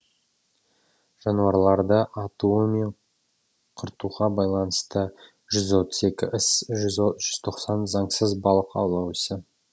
жануарларды атуы мен құртуға байланыстысы жүз отыз екі іс жүз тоқсан заңсыз балық аулау ісі